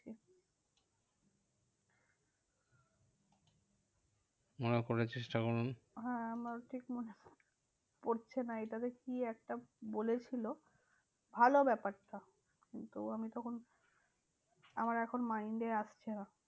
মনে করার চেষ্টা করুন। হ্যাঁ আমার ঠিক মনে পড়ছে না এইটা বেশ কি একটা বলেছিল? ভালো ব্যাপারটা কিন্তু আমিতো কোনো আমার এখন mind এ আসছে না।